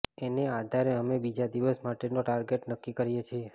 એને આધારે અમે બીજા દિવસ માટેનો ટાર્ગેટ નક્કી કરીએ છીએ